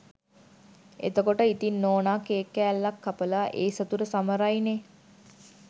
එතකොට ඉතිං නෝනා කේක් කෑල්ලක් කපලා ඒ සතුට සමරයිනේ